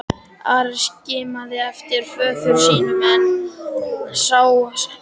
Ari skimaði eftir föður sínum en sá hann hvergi.